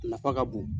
A nafa ka bon